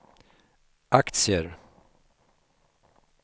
aktier